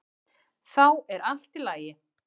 Þá er allt í lagi.